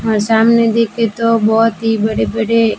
हमारे सामने देखे तो बहुत ही बड़े बड़े--